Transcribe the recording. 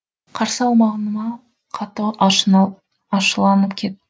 қарсы алмағыма қатты ашуланып кет